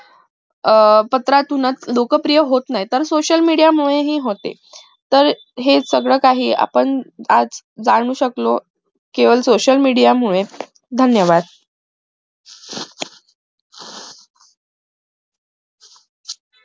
आह पत्रातूनच लोक प्रिय होत नाही तर social media मुळे हि होते तर हे सगळं काही आपण आज जाणू शकलो केवळ social media मुळे धन्यवाद